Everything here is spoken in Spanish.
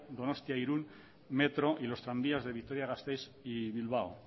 donostia irún metro y los tranvías de vitoria gasteiz y bilbao